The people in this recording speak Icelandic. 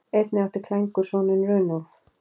Einnig átti Klængur soninn Runólf.